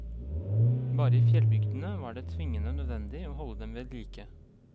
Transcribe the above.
Bare i fjellbygdene var det tvingende nødvendig å holde dem vedlike.